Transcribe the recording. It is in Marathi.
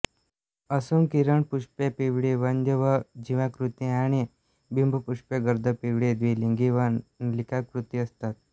असून किरणपुष्पे पिवळी वंध्य व जिव्हाकृती आणि बिंबपुष्पे गर्द पिवळी द्विलिंगी व नलिकाकृती असतात